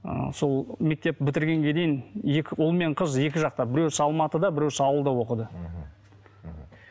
ы сол мектеп бітіргенге дейін екі ұл мен қыз екі жақта біреуісі алматыда біреуісі ауылда оқыды